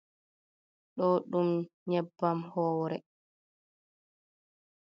Ɗo ɗum nyebbam howre.